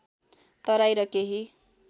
तराई र केही